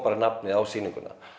nafnið á sýninguna